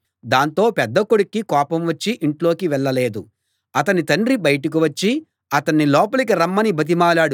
దాంతో పెద్ద కొడుక్కి కోపం వచ్చి ఇంట్లోకి వెళ్ళలేదు అతని తండ్రి బయటకు వచ్చి అతణ్ణి లోపలికి రమ్మని బతిమాలాడు